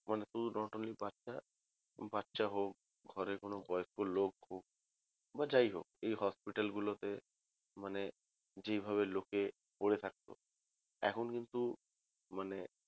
মানে শুধু not only বাচ্চা হোক বা ঘরে কোনো বয়স্ক লোক হোক বা যাই হোক এই hospital গুলো তে মানে যেইভাবে লোকএ পরে থাকত এখন কিন্তু মানে